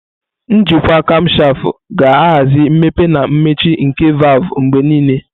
Njikwa kamshafu ga-ahazi mmepe na mmechi nke valvu mgbe niile.